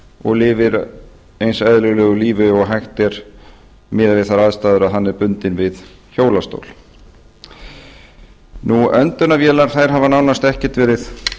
og lifir eins eðlilegu lífi og hægt er miðað við þær aðstæður að hann er bundinn við hjólastól öndunarvélar hafa nánast ekkert verið